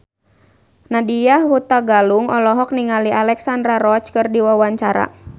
Nadya Hutagalung olohok ningali Alexandra Roach keur diwawancara